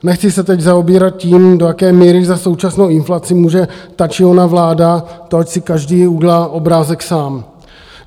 Nechci se teď zaobírat tím, do jaké míry za současnou inflaci může ta či ona vláda, to ať si každý udělá obrázek sám.